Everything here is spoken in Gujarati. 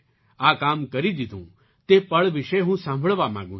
આ કામ કરી દીધું તે પળ વિશે હું સાંભળવા માગું છું